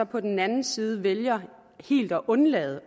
på den anden side så vælger helt at undlade